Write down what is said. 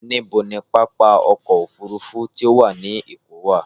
Níbo ni pápá ọkọ̀-òfurufú tó wà ní Èkó wà?